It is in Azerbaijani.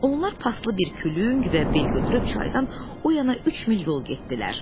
Onlar paslı bir külüng və bel götürüb çaydan o yana üç mil yol getdilər.